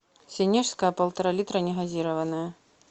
сенежская полтора литра негазированная